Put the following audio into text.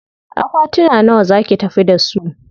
Akwatuna nawa za ki tafi da su?